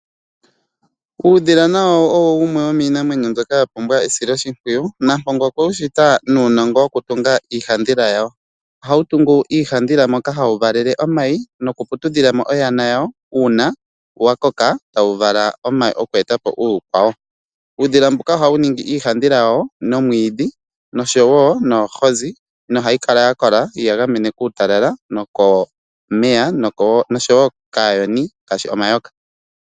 Uudhila na wo owo wumwe wominamwenyo mbyoka yapumbwa esiloshipwiyu nampongo okwe ushita nuunongo wokutunga iihadhila yawo ohawu tungu iihadhila moka hawu valele omayi noku putudhilamo oyana yawo uuna yakoka tawu vala omayi okwetapo uukwawo uudhila mbuka ohawu ningi iihadhila wawo noomwidhi noshowo noohozi no hayi kala yakola yeyi gamene kuutalala nokomeya oshowo kaayoni ngaashi omayoka